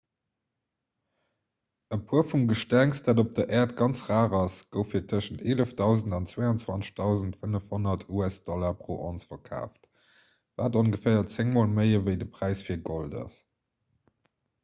e puer vum gestengs dat op der äert ganz rar ass gouf fir tëschent 11 000 an 22 500 usd pro onz verkaaft wat ongeféier zéng mol méi ewéi de präis fir gold ass